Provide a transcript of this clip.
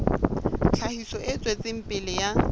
tlhahiso e tswetseng pele ya